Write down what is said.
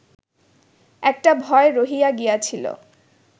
একটা ভয় রহিয়া গিয়াছিল